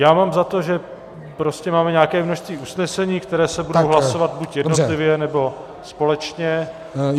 Já mám za to, že prostě máme nějaké množství usnesení, která se budou hlasovat buď jednotlivě, nebo společně.